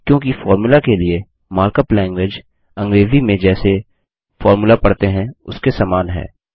क्योंकि फोर्मुला के लिए मार्कअप लैंगग्वेज अंग्रेज़ी में जैसे फोर्मुला पढ़ते हैं उसके समान है